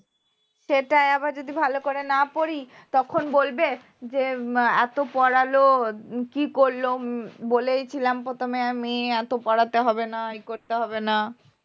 সেটাই আবার যদি ভালো করে না পড়ি তখন বলবে যে এত পরাল উম কী করল উম বলেছিলাম প্রথমে আমি এত পড়াতে হবে না ই করতে হবে না